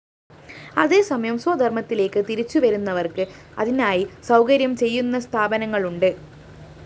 അതേസമയം സ്വധര്‍മ്മത്തിലേക്ക് തിരിച്ചുവരുന്നവര്‍ക്ക് അതിനായി സൗകര്യം ചെയ്യുന്ന സ്ഥാപനങ്ങളുണ്ട്